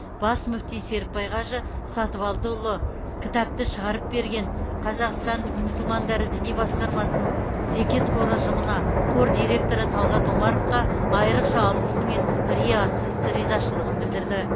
бас мүфти серікбай қажы сатыбалдыұлы кітапты шығарып берген қазақстан мұсылмандары діни басқармасының зекет қоры ұжымына қор директоры талғат омаровқа айрықша алғысы мен риясыз ризашылығын білдірді